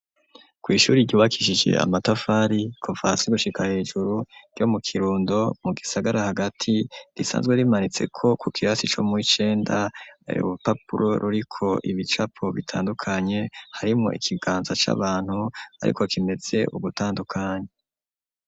Kw'ishuri ryubakishije amatafari kumvasi gushika hejuru, ryo mu kirundo mu gisagara hagati risanzwe rimanitse ko ku kirasi co mu wicenda urupapuro ruriko ibicapo bitandukanye, harimwo ikiganza c'abantu ,ariko kimeze ugutandukanye.